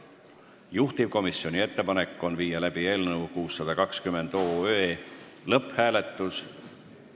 Juhtivkomisjoni ettepanek on viia läbi eelnõu 620 lõpphääletus.